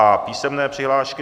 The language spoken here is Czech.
A písemné přihlášky.